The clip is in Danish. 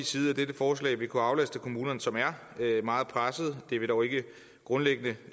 side at dette forslag vil kunne aflaste kommunerne som er meget pressede det vil dog ikke grundlæggende